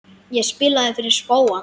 Ég spilaði fyrir spóann.